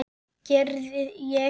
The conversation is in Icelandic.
Gerði ég það?